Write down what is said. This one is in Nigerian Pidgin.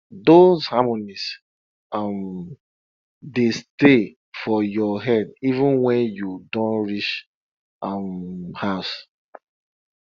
those harmonies um dey stay for your head even wen you don reach um house